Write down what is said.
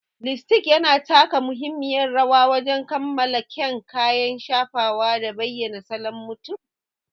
Lipstick yana taka muhimmiyar rawa wajen kammala kyan kayan shafa da bayyana salon mutum.